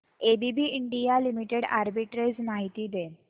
ABB India limited arbitrage माहिती दे